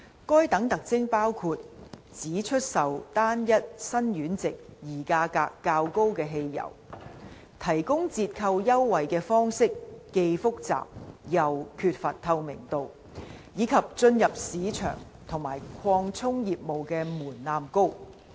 該等特徵包括：只出售單一辛烷值而價格較高的汽油、提供折扣優惠的方式既複雜又缺乏透明度，以及進入市場和擴充業務的門檻高。